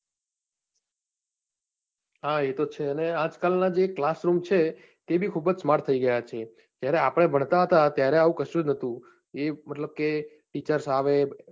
હા એ તો છે ને આજકાલ નાં જે class room છે એ બી ખુબજ smart થઈ ગયા છે જ્યારે આપને ભણતા હતા ત્યારે આવું કશું જ નતું એ મતલબ કે teachers આવે